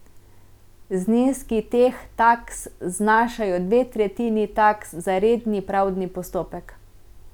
Zneski teh taks znašajo dve tretjini taks za redni pravdni postopek.